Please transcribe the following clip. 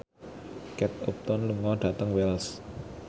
Kate Upton lunga dhateng Wells